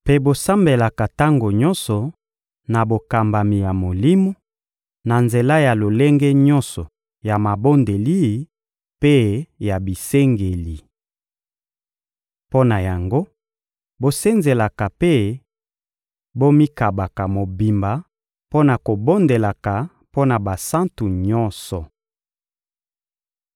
Mpe bosambelaka tango nyonso na bokambami ya Molimo, na nzela ya lolenge nyonso ya mabondeli mpe ya bisengeli. Mpo na yango, bosenzelaka mpe bomikabaka mobimba mpo na kobondelaka mpo na basantu nyonso.